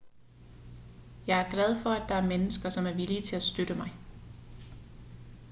jeg er glad for at der er mennesker som er villige til at støtte mig